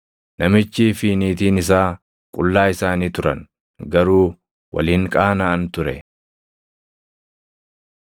Namichii fi niitiin isaa qullaa isaanii turan; garuu wal hin qaanaʼan ture.